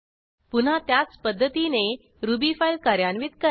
पुन्हा त्याच पध्दतीने रुबी फाईल कार्यान्वित करा